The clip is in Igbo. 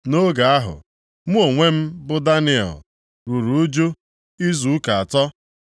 Nʼoge ahụ, mụ onwe m, bụ Daniel, ruru ụjụ izu ụka atọ.